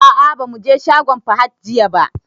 A'a ba mu je shagon Fahad jiya ba.